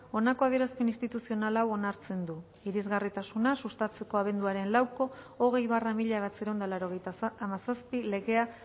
honako adierazpen instituzional hau onartzen du irisgarritasuna sustatzeko abenduaren lauko hogei barra mila bederatziehun eta laurogeita hamazazpi legea